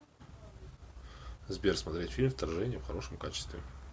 сбер смотреть фильм вторжение в хорошем качестве